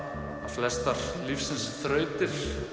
flestar lífsins þrautir